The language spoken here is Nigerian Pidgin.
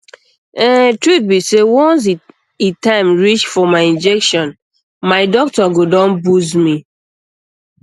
ehn truth be sey once e time reach for my injection my doctor go don buzz me